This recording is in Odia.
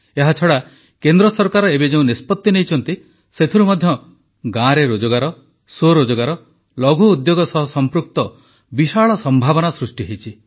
ଏହାଛଡ଼ା କେନ୍ଦ୍ର ସରକାର ଏବେ ଯେଉଁ ନିଷ୍ପତି ନେଇଛନ୍ତି ସେଥିରୁ ମଧ୍ୟ ଗାଁରେ ରୋଜଗାର ସ୍ୱରୋଜଗାର ଲଘୁ ଉଦ୍ୟୋଗ ସହ ସଂପୃକ୍ତ ବିଶାଳ ସମ୍ଭାବନା ସୃଷ୍ଟି ହୋଇଛି